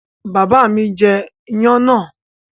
Bàbá mi jẹ iyán náà?